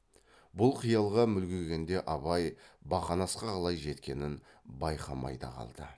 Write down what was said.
бұл қиялға мүлгігенде абай бақанасқа қалай жеткенін байқамай да қалды